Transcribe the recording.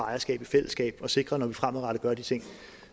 ejerskab i fællesskab og sikre at når vi fremadrettet gør de ting